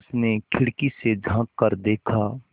उसने खिड़की से झाँक कर देखा